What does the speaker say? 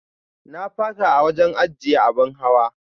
Na faka a wajen ajiyya abin hawa.